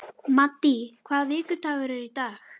Maddý, hvaða vikudagur er í dag?